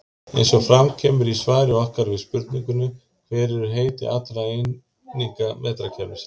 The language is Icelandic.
Eins og fram kemur í svari okkar við spurningunni Hver eru heiti allra eininga metrakerfisins?